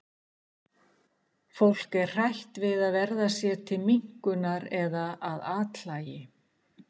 fólk er hrætt við að verða sér til minnkunar eða að athlægi